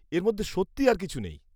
এর মধ্যে সত্যিই আর কিছু নেই।